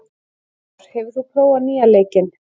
Amor, hefur þú prófað nýja leikinn?